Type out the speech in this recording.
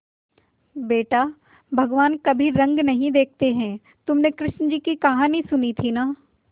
बेटा भगवान कभी रंग नहीं देखते हैं तुमने कृष्ण जी की कहानी सुनी थी ना